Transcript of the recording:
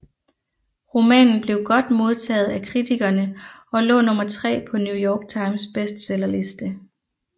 Romanen blev godt modtaget af kritikerne og lå nummer tre på New York Times bestsellerliste